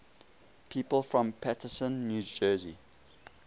people from paterson new jersey